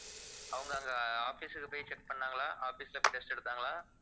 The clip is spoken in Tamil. அவங்க அங்க office க்கு போய் check பண்ணாங்களா office போய் test எடுத்தாங்களா